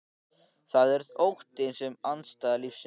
Það er óttinn sem er andstæða lífsins.